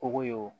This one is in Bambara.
Kɔgɔ ye o